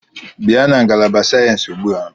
Bịa na ngalaba sayensị ugbu a!